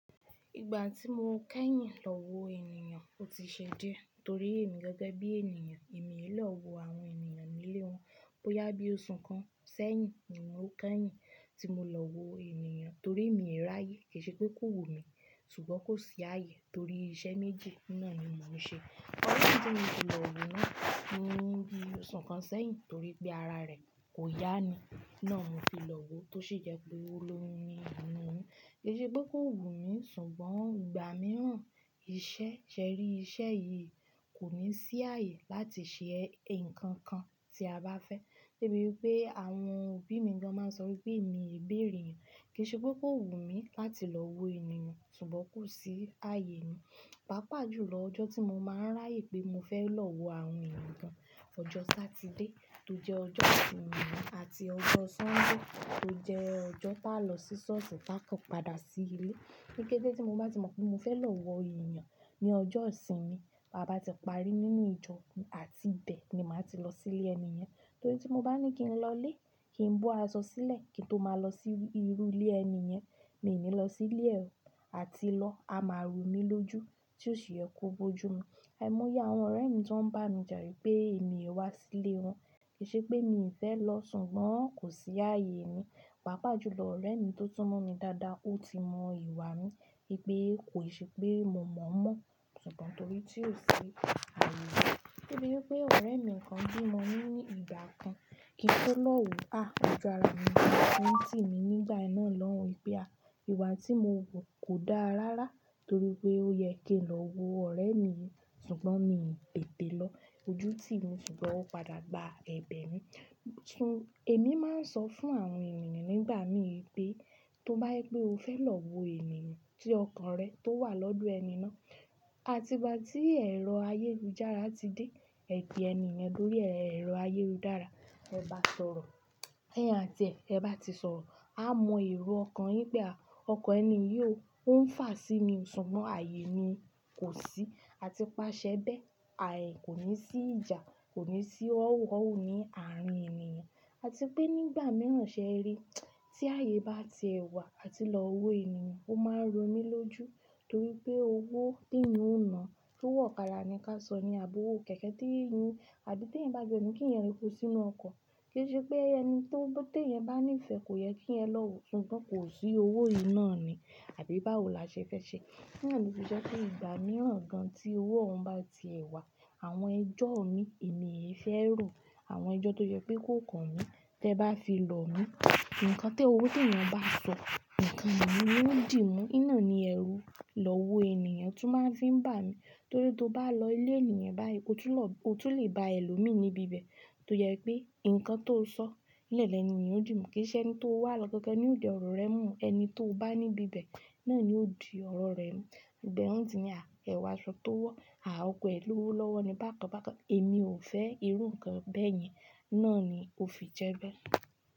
Ìgbà tí mo kẹ́yìn lọ wo ènìyàn ó ti ṣe díẹ̀ torí èmi gẹ́gẹ́ bí ènìyàn èmi ò lè lọ wo àwọn ènìyàn nílé wọn bó yá bí oṣù kan sẹ́yìn. Ìmú kẹ́yìn tí mo lọ wo ènìyàn torí èmi rí ààyè, kì í ṣe pé kò wù mí ṣùgbọ́n kò sí ààyè torí iṣẹ́ méjì náà ni mò ń ṣe. Ọ̀rẹ́ tí mo ti lọ wò náà ni ó di oṣù kan sẹ́yìn torí pé ara rẹ̀ kò yá ni. Náà ni mò fi lọ wo tó sì jẹ pé ó ló ni àmì mi. Kì í ṣe pé kò wù mí ṣùgbọ́n ìgbà mìíràn iṣẹ́ ṣẹ́ rí iṣẹ́ yìí kò ní sí ààyè láti ṣe nǹkan kan tí a bá fẹ́. Bí i pé àwọn òbí mi gan máa ń sọ wípé èmi ń béèrèyàn, kì í ṣe pé kò wù mí láti lọ wo ènìyàn ṣùgbọ́n kò sí ààyè mi. Pàápàá jù lọ ọjọ́ tí mo máa ń ráàyè pé mo fẹ́ lọ wo àwọn ènìyàn gan ọjọ́ Satide tó jẹ́ ọjọ́ ìsinmi àti ọjọ́ Sọ́ńdè tó jẹ́ ọjọ́ táa lọ sí ṣọ́ọ̀ṣì táa kàn padà sí ilé. Kíkétí tí mo bá ti mọ pé mo fẹ́ lọ wo ènìyàn ní ọjọ́ ìsinmi, bàbá ti parí nínú ìjọ àti ibẹ̀ ni màá ti lọ sí ilé ẹni yẹn. Torí tí mo bá ní kí n lọlé, kí n bó aṣọ sílẹ̀ kí n tó máa lọ sí irú ilé ẹni yẹn, mi ò ní lọ sí Ilé rẹ̀ o àti lọ a máa rú mi lójú tí ò ṣe é kó gbójú mi. Àìmọ́yá àwọn ọ̀rẹ́ mi tí wọ́n ń bá mi jàré pé èmi wá sí ilé wọn, kì í ṣe pé mi ò fẹ́ lọ ṣùgbọ́n kò sí ààyè mi. Pàápàá jù lọ ọ̀rẹ́ mi tó túmọ̀ mi dáadáa ó ti mọ ìwà mi pé kò ṣe pé mo mọ̀ mọ́ ṣùgbọ́n torí tí ò ṣi ààyè. Bí i pé ọ̀rẹ́ mi kan bí mọ ní ní ìgbà kan kí n tó lọ wo á, ọjọ́ àárọ̀ mi ni. Ẹ̀ni tí mi nígbà náà lọ wípé à ìwà tí mo wù kò dáa rárá torí pé ó yẹ kí n lọ wo ọ̀rẹ́ mi ṣùgbọ́n mi tètè lọ ojú tí mi ṣùgbọ́n ó padà gba ẹ̀bẹ̀ mi. Ẹ̀mi máa ń sọ fún àwọn ènìyàn nígbà mí pé tó bá yẹ pé o fẹ́ lọ wo ènìyàn tí ọkàn rẹ tó wà lọ́dọ̀ ẹni náà, àti bá tí ẹ̀rọ ayélujára ti dé, ẹ̀jẹ̀ ẹni yẹn lórí ẹ̀rọ ayélujára, ẹ bá sọ̀rọ̀, ẹyin àti ẹ̀, ẹ bá ti sọ̀rọ̀, a mọ èrò ọkàn yín pé àáh ọkọ̀ ẹni yóò ń fà sí inú, ṣùgbọ́n ààyè ni kò sí àti paṣẹ bẹ́ẹ̀, ààyè kò ní sí ìjà, kò ní sí ọ̀wọ̀ọ̀wọ̀ ni àárín ènìyàn. Àti pé nígbà mìíràn ṣẹ́ rí tí ààyè bá ti ẹ̀wà àti lọ wo ènìyàn, ó máa ń ro mí lójú torí pé owó tí ẹ̀yin ó nà tó wọ̀kàdá ni ká sọ ni àbọwọ̀ kẹ̀kẹ́ tí eyin àbí tí eyin bá gbe mi kí iyẹn ri kú sínú ọkọ̀. Kì í ṣe pé ẹni tí ó gbé tí eyin bá ní ìfẹ́ kò yẹ kí ẹ lọ wò ṣùgbọ́n kò sí owó yíì náà ni àbí bá wò là ṣe fẹ́ ṣe. Ní àní sì ṣe pé ìgbà mìíràn gan tí owó òun bá ti ẹ̀wà, àwọn ẹjọ́ mi èmi yẹn fẹ́ rò àwọn ẹjọ́ tó jẹ́ pé kó kan mí tẹ́ ẹ bá fi lọ mí. Ǹkan tí owó tí ẹyin bá sọ, ǹkan mìíràn ni ó dì mú. Iná ni ẹrú lọ wo ènìyàn tún máa ń fi ń bà mí torí tó bá lọ ilé ènìyàn báyii ọtún ló, o tún le bá ẹ lọ mí níbi ibẹ̀ tó yẹ pé ǹkan tó sọ́ nílẹ̀ ní ènìyàn ó dì mú kì í ṣe ẹni tó wà lọ́kẹ̀ẹ́kẹ́ ni ó di ọ̀rọ̀ rẹ mú ẹni tó bá níbi ibẹ̀ náà ni ó di ọ̀rọ̀ rẹ mú. Ìgbà ẹ ti ní à ẹ̀wà sọ tó wọ́, à oko ẹ ló wó lọ́wọ́ ni bákan bákan èmi ò fẹ́ irú ǹkan bẹ́ẹ̀ yẹn náà ni ó fi jẹ bẹ́ẹ̀